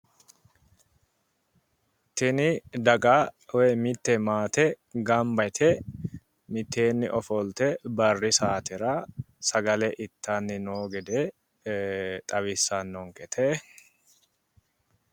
Tini daga woyi mitte maate gamba yite mitteenni sagale ittanni noo gede xawissannonkete.